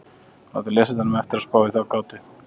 Við látum lesandanum eftir að spá í þá gátu.